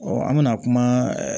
an bɛna kuma